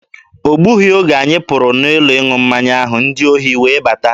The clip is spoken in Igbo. O gbughị oge anyị pụrụ n'ụlọ ịṅụ mmanya ahụ, ndị ohi wee bata.